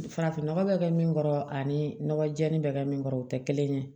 Farafinnɔgɔ bɛ kɛ min kɔrɔ ani nɔgɔ jɛlen bɛ kɛ min kɔrɔ o tɛ kelen ye